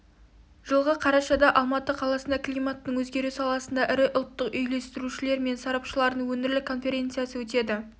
жылғы қарашада алматы қаласында климаттың өзгеру саласындағы ірі ұлттық үйлестірушілер мен сарапшыларының өңірлік конференциясы өтеді